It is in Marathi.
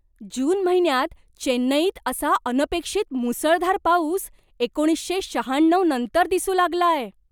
जून महिन्यात चेन्नईत असा अनपेक्षित मुसळधार पाऊस एकोणीसशे शहाण्णव नंतर दिसू लागलाय.